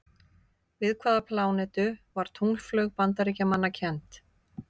Við hvaða plánetu var tunglflaug Bandaríkjamanna kennd?